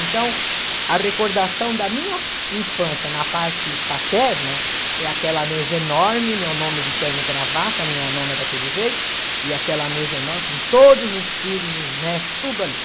Então, a recordação da minha infância na parte paterna é aquela mesa enorme, meu nono de terno e gravata, minha nona daquele jeito, e aquela mesa enorme com todos os filhos, os netos, tudo ali.